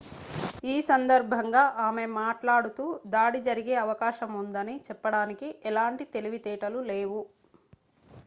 ఈ సందర్భంగా ఆమె మాట్లాడుతూ దాడి జరిగే అవకాశం ఉందని చెప్పడానికి ఎలాంటి తెలివితేటలు లేవు